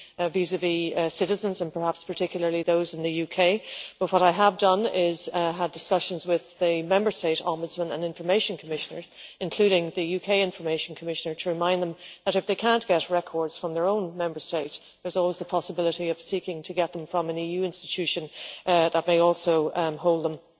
vis-à vis citizens, and perhaps particularly those in the UK, but what I have done is to have discussions with the Member State Ombudsmen and Information Commissioners, including the UK Information Commissioner, to remind them that if they cannot get records from their own Member State, there is always the possibility of seeking to get them from an EU institution that may also hold